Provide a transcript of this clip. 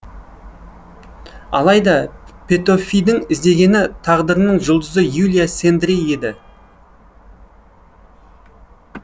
алайда петөфидің іздегені тағдырының жұлдызы юлия сендреи еді